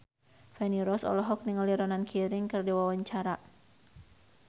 Feni Rose olohok ningali Ronan Keating keur diwawancara